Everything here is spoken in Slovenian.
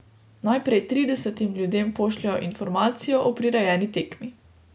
Najprej tridesetim ljudem pošljejo informacijo o prirejeni tekmi.